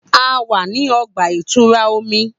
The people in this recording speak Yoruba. A wa ni ọgba-itura omi.